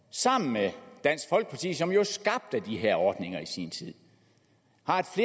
sammen med dansk folkeparti som jo skabte de her ordninger i sin tid